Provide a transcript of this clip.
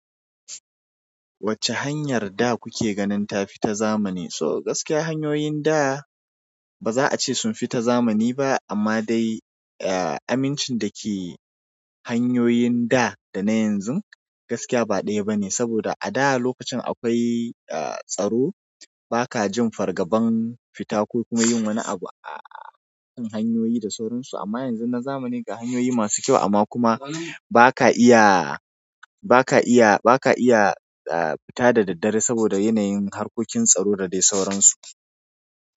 Wacce hanyar da kuke ganin ta fi ta zamani? So gaskiya hanyoyin da ba za a ce sun fi ta zamani ba, amma dai amincin da ke hanyoyin da da na yanzu gaskiya ba ɗaya ba ne. Saboda a da lokacin akwai tsaro, ba ka jin fargaban fita ko kuma yin wani abu a kan hanyoyi da sauran su amma yanzu na zamani ga hanyoyi masu kyau amma kuma ba ka iya, ba ka iya, ba ka iya fita da daddare saboda yanayin harkokin tsaro da dai sauransu.